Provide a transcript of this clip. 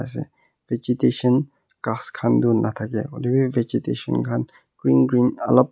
ase vegetation ghas khan tu natha kay huilevi vegetation khan green green olop--